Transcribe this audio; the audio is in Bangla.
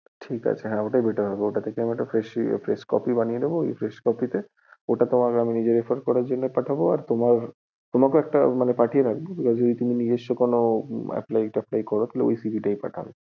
ঠিক আছে হ্যাঁ ওটাই better হবে, ওর থেকেই একটা fresh CV বা fresh copy বানিয়ে দেব, ওই fresh copy টাই তোমার refer করার জন্য পাঠাবো, তোমাকেও একটা পাঠিয়ে রাখবো নিজস্ব কোনো apply যদি করো তাহলে এই CV তাই পাঠাবে।